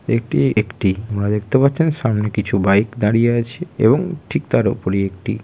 এটি একটি আপনারা দেখতে পাচ্ছেন সামনে কিছু বাইক দাঁড়িয়ে আছে এবং ঠিক তার উপরে একটি--